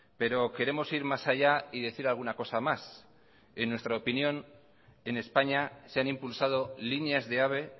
pero queremos ir más allá y decir alguna cosa más en nuestra opinión en españa se han impulsado líneas de ave